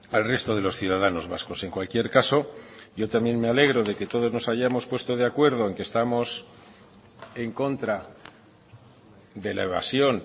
al resto de los ciudadanos vascos en cualquier caso yo también me alegro de que todos nos hayamos puesto de acuerdo en que estamos en contra de la evasión